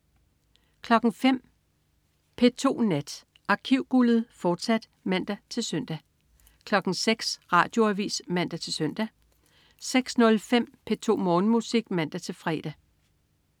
05.00 P2 Nat. Arkivguldet, fortsat (man-søn) 06.00 Radioavis (man-søn) 06.05 P2 Morgenmusik (man-fre)